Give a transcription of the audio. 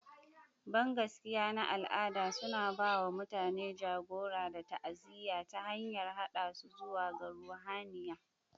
Bangaskiya na al'ada suna ba wa mutane jagora da ta'aziyya ta hanyar haɗa su zuwa ga ruhaniya.